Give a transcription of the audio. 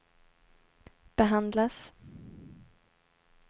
behandlas